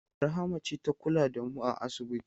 Rahama ce ta kula da mu a asibiti.